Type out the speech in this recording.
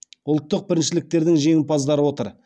ұлттық біріншіліктердің жеңімпаздары отыр